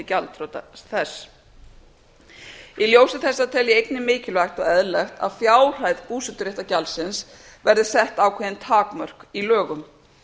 gjaldþrota þess í ljósi þessa tel ég einnig mikilvægt og eðlilegt að fjárhæð búseturéttargjaldsins verði sett ákveðin takmörk í lögum